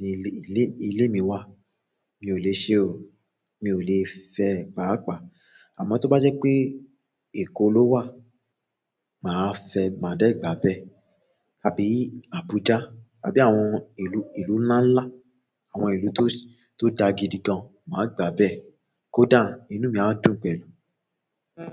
ni ilé, ilé, ilé mi wà, mi ò le ṣe o. Mi ò le fẹ́ paapaa. Àmọ́ tó bá jẹ́ pé Èkó ló wà, màá fẹ́, màá dà gbà bẹ́ẹ̀. Àbí Abuja àbí àwọn ìlú lanlan àwọn ìlú to da gidi gan ma gba bẹ́ẹ̀. Kódà inú mi á dùn pẹ̀lú.